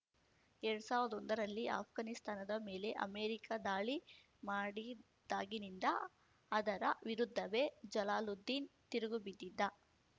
ಎರಡ್ ಸಾವ್ರ್ದ ಒಂದರಲ್ಲಿ ಆಷ್ಘಾನಿಸ್ತಾನದ ಮೇಲೆ ಅಮೆರಿಕ ದಾಳಿ ಮಾಡಿದಾಗಿನಿಂದ ಅದರ ವಿರುದ್ಧವೇ ಜಲಾಲುದ್ದೀನ್‌ ತಿರುಗುಬಿದ್ದಿದ್ದ